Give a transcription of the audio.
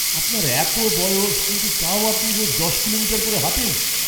আপনার এতো বয়স, কিন্তু তাও আপনি রোজ দশ কিলোমিটার করে হাঁটেন!